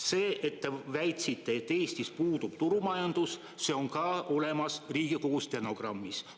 See, et te väitsite, et Eestis puudub turumajandus, on ka olemas Riigikogu stenogrammis.